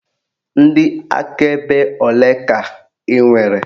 Ndị akaebe olee ka ị nwere?